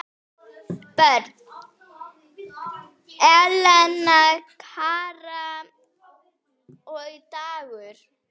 Börn: Elena, Kara og Dagur.